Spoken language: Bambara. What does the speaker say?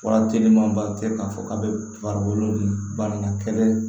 Fura telima ba tɛ k'a fɔ k'a bɛ farikolo banna kɛlɛ